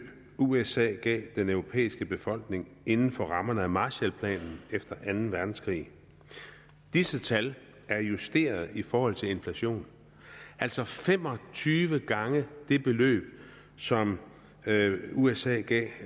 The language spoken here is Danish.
usa gav den europæiske befolkning inden for rammerne af marshall planen efter anden verdenskrig disse tal er justeret i forhold til inflation altså fem og tyve gange det beløb som usa gav